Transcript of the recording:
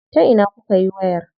Ta ina kukayi wayar?